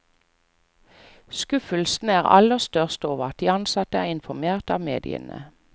Skuffelsen er aller størst over at de ansatte er informert av mediene.